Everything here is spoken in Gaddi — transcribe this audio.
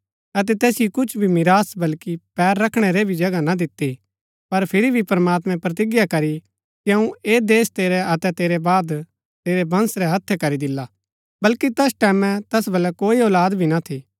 अतै तैसिओ कुछ भी मिरास बल्कि पैर रखणै रै भी जगह ना दिती पर फिरी भी प्रमात्मैं प्रतिज्ञा करी की अऊँ ऐह देश तेरै अतै तेरै बाद तेरै वंश रै हत्थै करी दिला बल्कि तैस टैमैं तैस बलै कोई औलाद भी ना थी